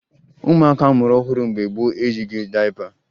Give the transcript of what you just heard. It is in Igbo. Ụmụaka a mụrụ ọhụrụ mgbe gboo eyighi dayịpa